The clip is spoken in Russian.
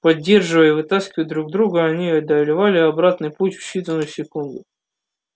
поддерживая и вытаскивая друг друга они одолевали обратный путь в считанные секунды